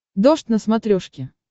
дождь на смотрешке